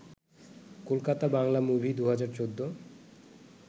Kolkata Bangla movie ২০১৪